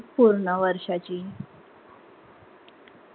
पूर्ण वर्षाची